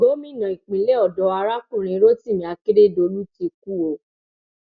gómìnà ìpínlẹ ọdọ arákùnrin rotimi akeredolu ti kú o